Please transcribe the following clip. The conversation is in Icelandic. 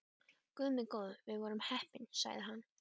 Guð minn góður, við vorum heppnir sagði hann.